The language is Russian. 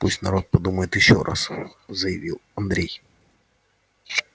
пусть народ подумает ещё раз заявил андрей